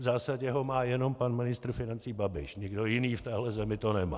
V zásadě ho má jenom pan ministr financí Babiš, nikdo jiný v téhle zemi to nemá.